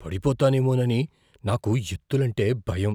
పడిపోతానేమోనని నాకు ఎత్తులంటే భయం.